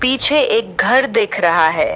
पीछे एक घर दिख रहा है।